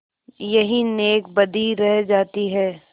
यही नेकबदी रह जाती है